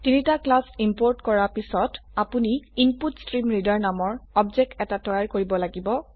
তিনটি class import কৰা পিছত আপনি ইনপুটষ্ট্ৰীমৰিডাৰ নামৰ অবজেক্ট এটা তৈয়াৰ কৰিব লাগিব